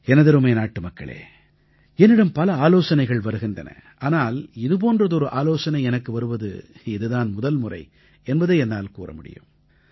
எனதருமை நாட்டுமக்களே என்னிடம் பல ஆலோசனைகள் வருகின்றன ஆனால் இது போன்றதொரு ஆலோசனை எனக்கு வருவது இதுதான் முதல்முறை என்பதை என்னால் கூற முடியும்